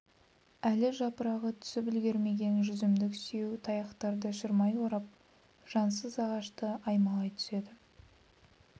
әлі жапырағы түсіп үлгермеген жүзімдік сүйеу таяқтарды шырмай орап жансыз ағашты аймалай түседі